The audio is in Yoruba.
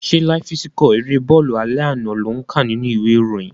Ṣé láíf síkọ̀ erée bọ́ọ̀lù alẹ́ àná lò ń kà nínú ìwé ìròyìn?